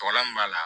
Walan m'a la